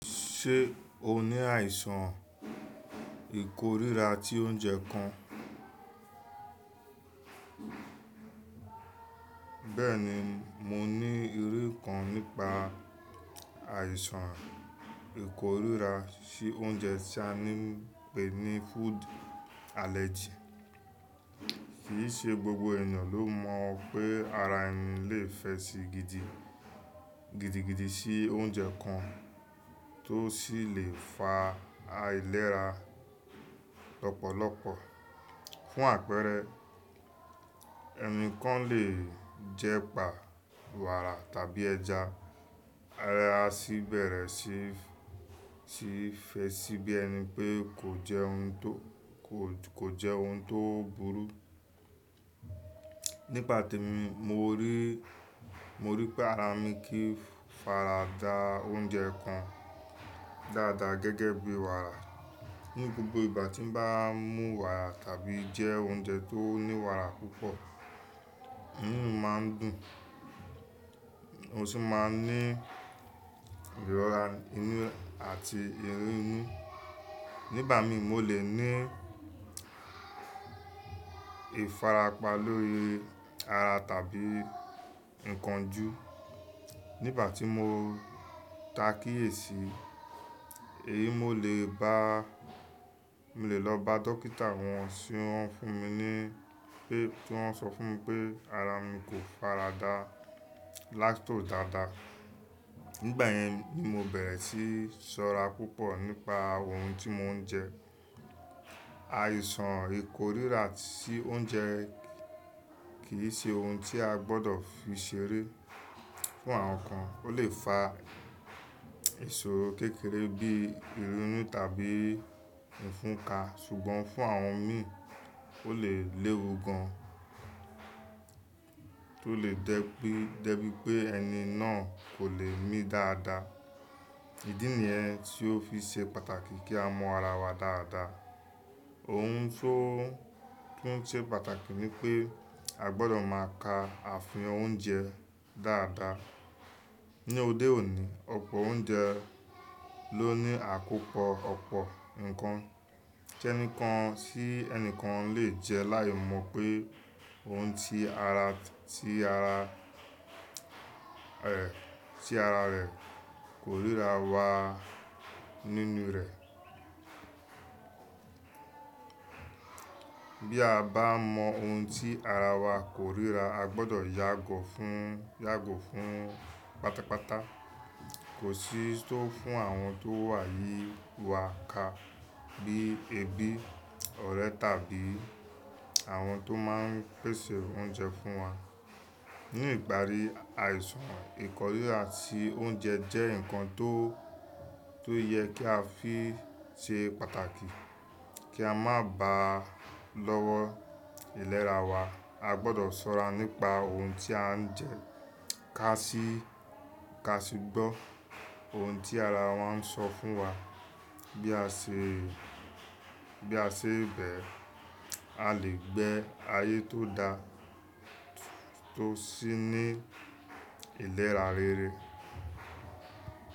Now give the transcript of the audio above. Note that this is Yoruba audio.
Ṣé o ní àìsàn ìkorira ti oúnjẹ kan? Bẹ́ẹ̀ni, mo ní irú kan nípa àìsàn ìkorira sí oúnjẹ tí a ń pè ní food allergy. Kì í ṣe gbogbo ènìyàn ló mọ̀ pé ara ẹni lè fẹ sí gidi, gidigidi sí oúnjẹ kan tó sì lè fa àìlera lọ́pọ̀lọpọ̀. Fún àpẹẹrẹ, ẹni kan lè jẹ pà wàrà tàbí ẹja, ara sì bẹ̀rẹ̀ sí, sí fẹ sí bí ẹni pé kò jẹ́ ohun tó, kò jẹ́ ohun tó burú. Nígbà tí mo rí, mo rí pé ara mi kìí farada oúnjẹ kan dáadáa gẹ́gẹ́ bí wàrà. Ni gbogbo ìgbà tí n bá mú wàrà tàbí jẹ oúnjẹ tó ní wàrà púpọ̀, eyín máa ń dùn, ó sì máa ń ní ìrọ́ra inú àti ìrúnú. Nígbà mi, mo lè ní ifarapa lórí ara tàbí ǹkan ju. Nígbà tí mo takíyèsí, èyí mo lè bá, mo lè lọ bá dókítà wọ́n sì wọ́n fún mi ní pé, tí wọ́n sọ fún mi pé ara mi kò farada lactose dáadáa. Nígbà yẹn ni mo bẹ̀rẹ̀ sí sọ́ra púpọ̀ nípa ohun tí mò ń jẹ. Àìsàn ìkorira sí oúnjẹ kì í ṣe ohun tí a gbọdọ̀ fi ṣeré. Fún àwọn kan, ó lè fa ìṣòro kékeré bí ìrúnú tàbí ìfunka. Ṣùgbọ́n fún àwọn mí, ó lè léwu gan tó lè jẹ bí, jẹ bí pé ẹni náà kò lè mi dáadáa. Ìdí nìyẹn tí ó fi ṣe pàtàkì kí á mọ ara wa dáadáa. Ohun tó, tún ṣe pàtàkì ni pé a gbọdọ̀ máa ka àfihàn oúnjẹ dáadáa. Ni ọdẹ òní, ọ̀pọ̀ oúnjẹ ló ní àkópọ̀ ọ̀pọ̀ ǹkan tí ẹnìkan, tí ẹnìkan lè jẹ láì mọ̀ pé ohun tí ara, tí ara, è, tí ara rẹ̀ kò ríra wà nínú rẹ̀. Bí a bá mọ ohun tí ara wa kò ríra, a gbọdọ̀ yàgò fún, yàgò fún pátápátá. Kò sí tó fún àwọn tó wà ní wàka bí ebi, ọ̀rẹ́ tàbí àwọn tó máa ń pèsè oúnjẹ fún wa. Ni ìgbàrí, àìsàn ìkorira tí oúnjẹ jẹ́ ǹkan tó, tó yẹ kí a fi ṣe pàtàkì kí a má ba à lọ́wọ́ ìlera wa. A gbọdọ̀ ṣọ́ra nípa ohun tí à ń jẹ, ká sì, ká sì gbọ́ ohun tí ara wa ń sọ fún wa. Bí a ṣe, bí a ṣe bẹ́ẹ̀, a lè gbé ayé tó dá tó sì ní ìlera rere.